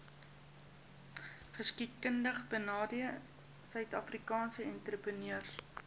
geskiedkundigbenadeelde suidafrikaanse entrepreneurs